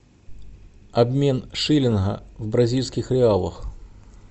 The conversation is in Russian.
обмен шиллинга в бразильских реалах